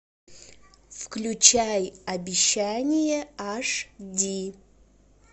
включай обещание аш ди